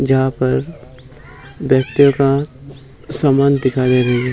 जहाँ पे व्यक्तियों का समान दिखाई दे रहे हैं।